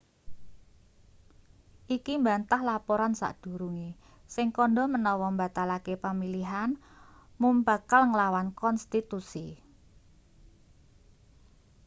iki mbantah laporan sadurunge sing kandha menawa mbatalake pamilihan mum bakal nglawan konstitusi